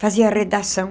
Fazia redação.